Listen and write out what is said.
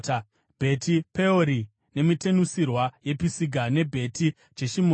Bheti-Peori, nemitenusirwa yePisiga, neBheti Jeshimoti,